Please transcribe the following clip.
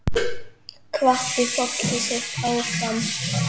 Hvatti fólkið sitt áfram.